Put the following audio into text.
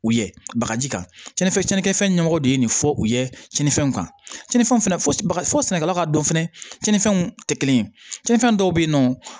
U ye bagaji kan cɛnni fɛn cɛn fɛn ɲɛmɔgɔ de ye nin fɔ u ye cɛnifɛnw kan cɛn ni fɛnw fana fɔ sɛnɛkɛlaw ka dɔn fɛnɛ tiɲɛnifɛnw tɛ kelen ye cɛn dɔw bɛ yen nɔ